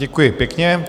Děkuji pěkně.